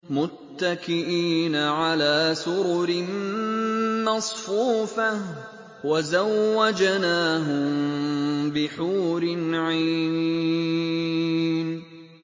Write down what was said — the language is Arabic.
مُتَّكِئِينَ عَلَىٰ سُرُرٍ مَّصْفُوفَةٍ ۖ وَزَوَّجْنَاهُم بِحُورٍ عِينٍ